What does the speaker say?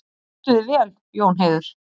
Þú stendur þig vel, Jónheiður!